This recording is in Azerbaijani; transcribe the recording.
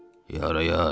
Yar-yar!